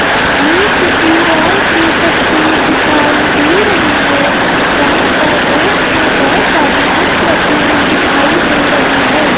ये किसी हाल की तस्वीर दिखाई दे रही है जहां पर रेक्स में बहोत सारी बुक्स रखी हुई दिखाई दे रही है।